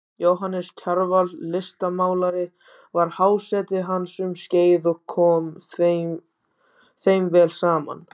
Jóhannes Kjarval listmálari var háseti hans um skeið og kom þeim vel saman.